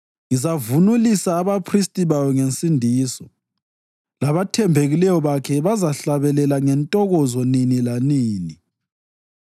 Ngizavunulisa abaphristi bayo ngensindiso, labathembekileyo bakhe bazahlabelela ngentokozo nini lanini.